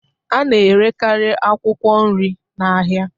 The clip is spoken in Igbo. A na-erekarị akwụkwọ nri na ahịa